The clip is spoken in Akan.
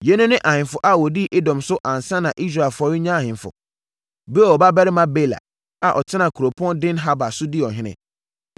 Yeinom ne ahemfo a wɔdii Edom so ansa na Israelfoɔ renya ahemfo: Beor babarima Bela, a ɔtenaa kuropɔn Dinhaba so dii ɔhene.